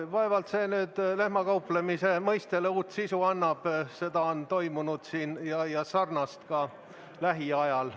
Vaevalt see lehmakauplemise mõistele uue sisu annab, seda on siin toimunud ka lähiajal.